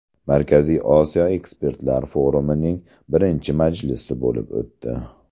Markaziy Osiyo ekspertlar forumining birinchi majlisi bo‘lib o‘tdi.